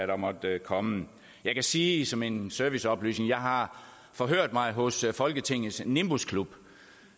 der måtte komme jeg kan sige som en serviceoplysning at jeg har forhørt mig hos folketingets nimbusklub